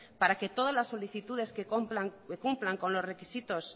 para que todas las solicitudes que cumplan con los requisitos